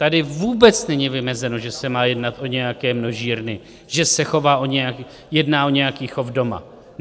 Tady vůbec není vymezeno, že se má jednat o nějaké množírny, že se jedná o nějaký chov doma.